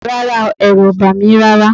Rárá o, ẹ̀rù ò bà mí rárá